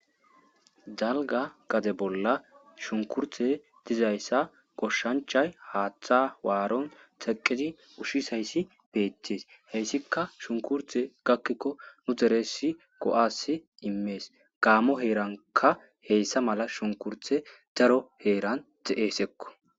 dalga gade bolla shunkurtey dizayssa goshshanchay haaththa waaron teqidi ushshis hayssi beettees heyssikka shunkurthe gakkikko nu deressi go7asi immees gaamo heeranka heyssa mala shunkurthe daro heeran de7eesekko